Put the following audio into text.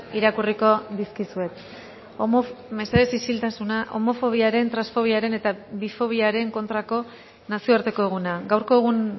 irakurriko dizkizuet mesedez isiltasuna homofobiaren transfobiaren eta bifobiaren kontrako nazioarteko eguna gaurko egun